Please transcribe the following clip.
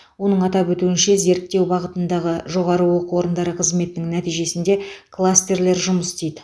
оның атап өтуінше зерттеу бағытындағы жоғары оқу орындары қызметінің нәтижесінде кластерлер жұмыс істейді